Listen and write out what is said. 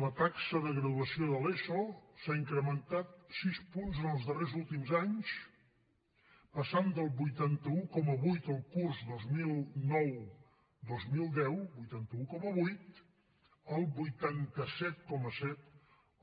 la taxa de graduació de l’eso s’ha incrementat sis punts en els darrers últims anys passant del vuitanta un coma vuit el curs dos mil nou dos mil deu vuitanta un coma vuit al vuitanta set coma set